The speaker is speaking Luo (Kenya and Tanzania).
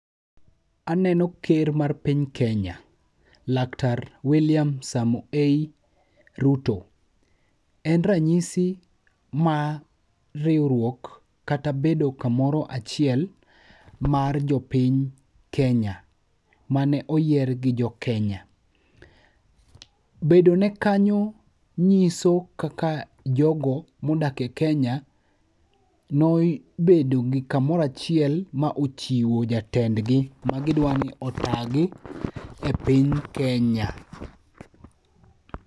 Aneno ker mar piny Kenya, laktar William Samoei Ruto. En ranyisi ma riwruok kata bedo kamoro achiel mar jopiny Kenya mane oyier gi jo Kenya. Bedone kanyo nyiso kaka jogo modak e Kenya ne obedo kamoro achiel ma ochiwo jatendgi magidwa ni otaa gi e piny Kenya.